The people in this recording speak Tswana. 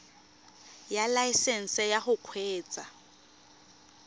ya laesesnse ya go kgweetsa